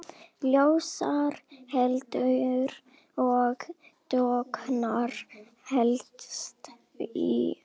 Ljósar hetjur og dökkar hetjur.